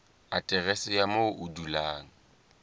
aterese ya moo o dulang